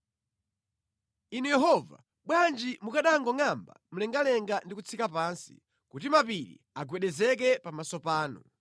Inu Yehova, bwanji mukanangongʼamba mlengalenga ndi kutsika pansi, kuti mapiri agwedezeke pamaso panu!